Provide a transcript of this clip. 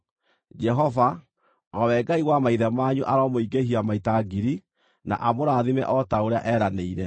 Jehova, o we Ngai wa maithe manyu, aromũingĩhia maita ngiri, na amũrathime o ta ũrĩa eeranĩire!